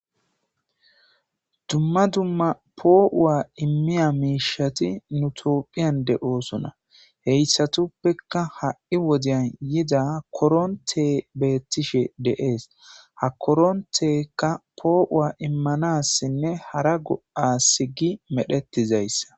Duma duma po'a imiya misheti itopheyn de'osona hesatapeka ha'i wodeyan yida koronte beteshe de'es ha koronteyka po'a imanasinee hara go'a imanasi gidi medhetizaysa